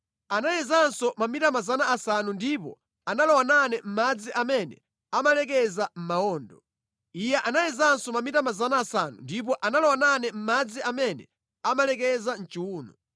Anayezanso mamita 500 ndipo analowa nane mʼmadzi amene amalekeza mʼmawondo. Iye anayezanso mamita 500 ndipo analowa nane mʼmadzi amene amalekeza mʼchiwuno.